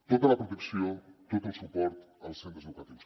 tota la protecció tot el suport als centres educatius